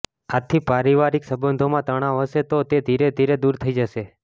આથી પારિવારિક સંબંધોમાં તણાવ હશે તો તે ધીરેધીરે દૂર થઈ જશે